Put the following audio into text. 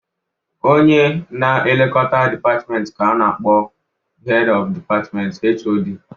Onye na-elekota dipatmenti ka a na-akpọ Hed ọf Dipatmentị (HoD)